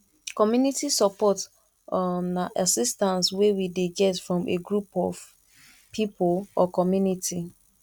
community support um na assistance wey we dey get from a group of pipo or community